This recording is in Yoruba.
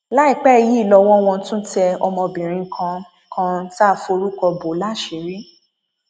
láìpẹ yìí lọwọ wọn tún tẹ ọmọbìnrin kan kan tá a forúkọ bọ láṣìírí